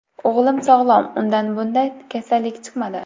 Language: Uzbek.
O‘g‘lim sog‘lom, undan bunday kasallik chiqmadi.